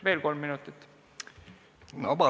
Veel kolm minutit, palun!